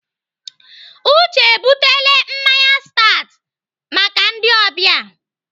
Uche ebutele mmanya stat maka ndị ọbịa.